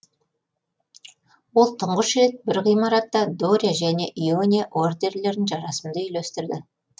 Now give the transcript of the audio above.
ол тұңғыш рет бір ғимаратта доря және иония ордерлерін жарасымды үйлестірді